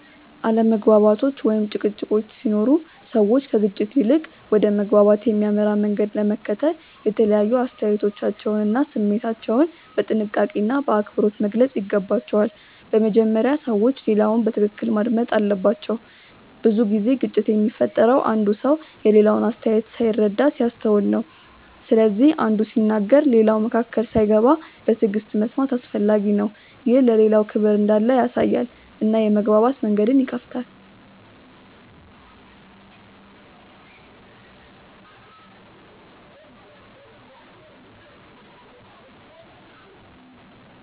አለመግባባቶች ወይም ጭቅጭቆች ሲኖሩ ሰዎች ከግጭት ይልቅ ወደ መግባባት የሚያመራ መንገድ ለመከተል የተለያዩ አስተያየቶቻቸውን እና ስሜታቸውን በጥንቃቄና በአክብሮት መግለጽ ይገባቸዋል። በመጀመሪያ ሰዎች ሌላውን በትክክል ማዳመጥ አለባቸው። ብዙ ጊዜ ግጭት የሚፈጠረው አንዱ ሰው የሌላውን አስተያየት ሳይረዳ ሲያስተውል ነው። ስለዚህ አንዱ ሲናገር ሌላው መካከል ሳይገባ በትዕግሥት መስማት አስፈላጊ ነው። ይህ ለሌላው ክብር እንዳለ ያሳያል እና የመግባባት መንገድን ይከፍታል.